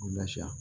U lafiya